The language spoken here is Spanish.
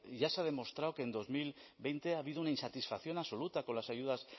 ya se ha demostrado que en dos mil veinte ha habido una insatisfacción absoluta con las ayudas